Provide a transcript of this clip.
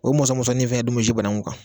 O mɔsɔ mɔsɔnin fana bi banaku kan.